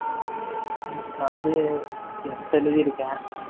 machines ல வந்து எட்டு எழுதிருக்கேன்